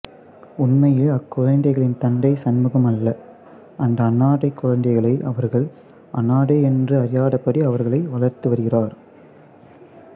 உண்மையில் அக்குழந்தைகளின் தந்தை சண்முகம் அல்ல அந்த அனாதைக் குழந்தைகளை அவர்கள் அனாதை என்று அறியாதபடி அவர்களை வளர்த்துவருகிறார்